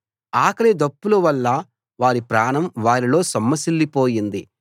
ఆకలి దప్పుల వల్ల వారి ప్రాణం వారిలో సొమ్మసిల్లిపోయింది